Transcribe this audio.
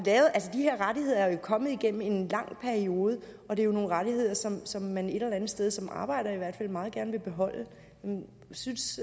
her rettigheder er jo kommet igennem en lang periode og det er jo nogle rettigheder som som man et eller andet sted som arbejder i hvert fald meget gerne vil beholde synes